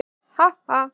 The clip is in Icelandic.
Ha ha!